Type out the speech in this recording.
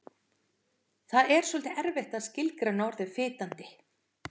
Það er svolítið erfitt að skilgreina orðið fitandi.